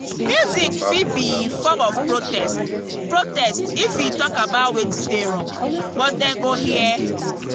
music fit be form of protest protest if e talk about wetin dey wrong but dem go hear?